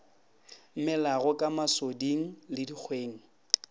melago ka masoding le dikgweng